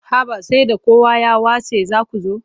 Haba sai da kowa ya watse za ku zo.